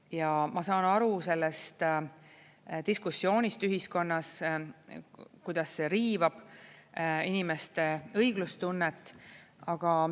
Ja ma saan aru sellest diskussioonist ühiskonnas, kuidas see riivab inimeste õiglustunnet.